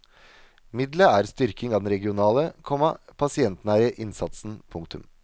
Middelet er styrking av den regionale, komma pasientnære innsatsen. punktum